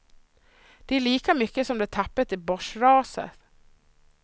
Det är lika mycket som de tappat i börsraset.